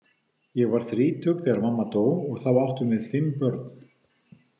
Ég var þrítug þegar mamma dó og þá áttum við fimm börn.